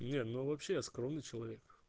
не ну вообще я скромный человек